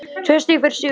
Tvö stig fyrir sigur